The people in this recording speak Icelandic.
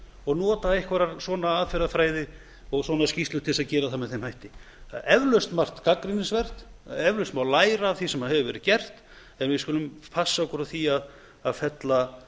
og nota einhverja svona aðferðafræði og svona skýrslur til að gera það með þeim hætti það er eflaust margt gagnrýnisvert það má eflaust læra af því sem hefur verið gert en við skulum passa okkur á því að fella